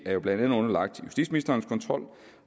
er jo blandt andet underlagt justitsministerens kontrol